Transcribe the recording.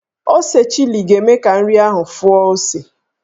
Ose chili ga-eme ka nri ahụ fụọ ose.